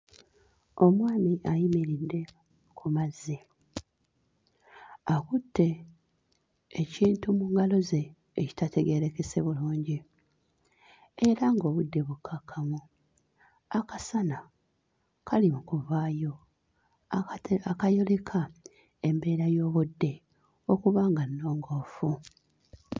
Omwami ayimiridde ku mazzi, akutte ekintu mu ngalo ze ekitategeerekese bulungi era ng'obudde bukkakkamu akasana kali mu kuvaayo akate akayoleka embeera y'obudde okuba nga nnongoofu.